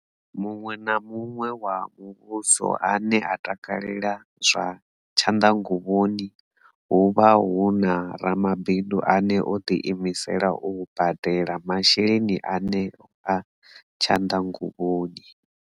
Muṅwe na muṅwe wa muvhuso ane a takalela zwa tshanḓanguvhoni, hu vha hu na ramabindu ane o ḓiimisela u badela masheleni eneo a tshanḓanguvhoni.